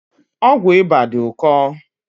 Ọgwụ ịba dị ụkọ